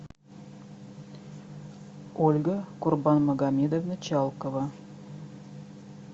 ольга курбанмагомедовна чалкова